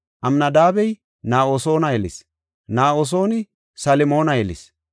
Amnadaabey Na7asoona yelis; Na7asooni Salmoona yelis;